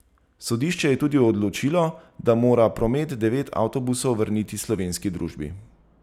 Sodišče je tudi odločilo, da mora Promet devet avtobusov vrniti slovenski družbi.